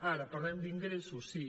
ara parlem d’ingressos sí